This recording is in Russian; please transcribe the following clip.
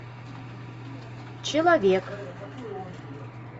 человек